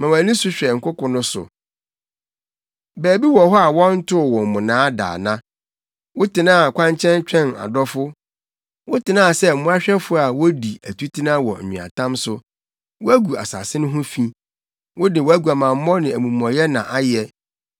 “Ma wʼani so hwɛ nkoko no so. Baabi wɔ hɔ a wɔntoo wo mmonnaa da ana? Wotenaa kwankyɛn twɛn adɔfo, wotenaa sɛ mmoahwɛfo a wodi atutena wɔ nweatam so. Woagu asase no ho fi, wode wʼaguamammɔ ne wʼamumɔyɛ na ayɛ.